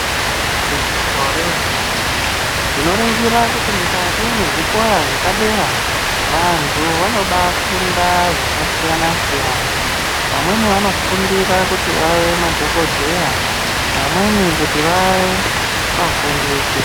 Igwinyiso remene-mene, tinoringira kuti mwukati mwezvikora zvepadera, vantu vanobafunda zvakasiyana-siyana. Vamweni vanofundira kuti vave madhokodheya vamweni kuti vaye vafundisi.